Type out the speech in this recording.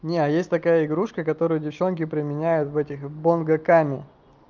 не а есть такая игрушка которую девчонки применяют в этих в бангокаме